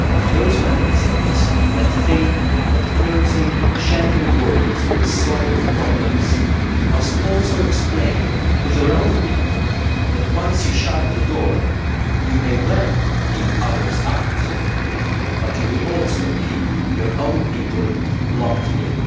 Those Member States that think that closing Schengen borders will solve problems must also explain to their own people that, once you shut the door, you may well keep others out but you will also keep your own people locked in.